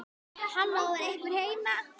Halló, er einhver heima?